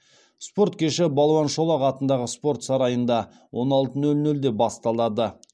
спорт кеші балуан шолақ атындағы спорт сарайында он алты нөл нөлде басталады